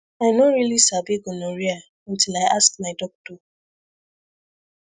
i no really sabi gonorrhea until i ask my doctor